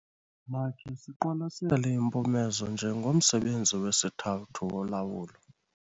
Makhe siqwalasele impumezo njengomsebenzi wesithathu wolawulo.